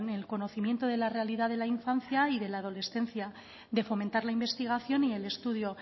el conocimiento de la realidad de la infancia y de la adolescencia de fomentar la investigación y el estudio